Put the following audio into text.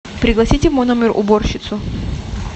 пригласите в мой номер уборщицу